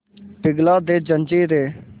पिघला दे जंजीरें